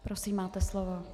Prosím, máte slovo.